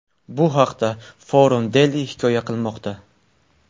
Bu haqda Forum Daily hikoya qilmoqda .